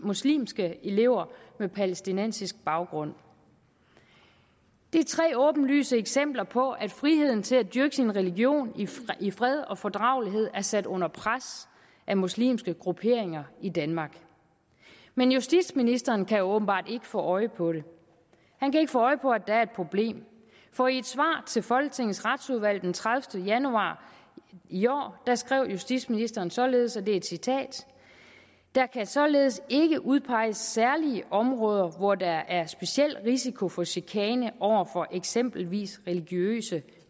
muslimske elever med palæstinensisk baggrund det er tre åbenlyse eksempler på at friheden til at dyrke sin religion i fred og fordragelighed er sat under pres af muslimske grupperinger i danmark men justitsministeren kan åbenbart ikke få øje på det han kan ikke få øje på at der er et problem for i et svar til folketingets retsudvalg den tredivete januar i år skrev justitsministeren således og det er et citat der kan således ikke udpeges særlige områder hvor der er speciel risiko for chikane over for eksempelvis religiøse